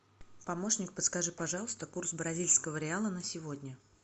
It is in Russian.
помощник подскажи пожалуйста курс бразильского реала на сегодня